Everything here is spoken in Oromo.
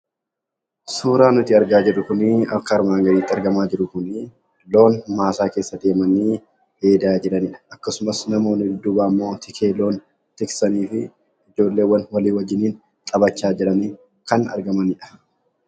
Suuraan nuti argaa jirru kun loon maasaa keessa deemanii dheedaa jiranidha. Akkasumas namoonni duubaan tiksee loon tiksanii fi ijoolleewwan waliin taphachaa jiran kan argamanidha.